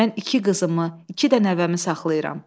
Mən iki qızımı, iki də nəvəmi saxlayıram.